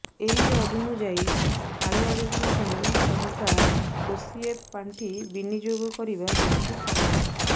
ଏହି ଅନୁଯାୟୀ କାଳିଆ ଯୋଜନା ପାଇଁ ସରକାର ଓସିଏଫ ପାଣ୍ଠି ବିନିଯୋଗ କରିବା ଯୁକ୍ତିସମ୍ମତ